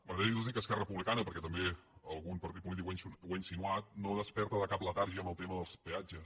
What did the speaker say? m’agradaria dir los que esquerra republicana perquè també algun partit polític ho ha insinuat no es desperta de cap letargia en el tema dels peatges